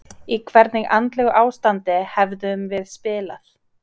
Í hvernig andlegu ástandi hefðum við spilað?